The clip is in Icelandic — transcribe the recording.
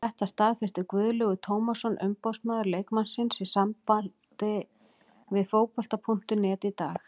Þetta staðfesti Guðlaugur Tómasson umboðsmaður leikmannsins í samtali við Fótbolta.net í dag.